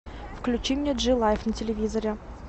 включи мне джи лайф на телевизоре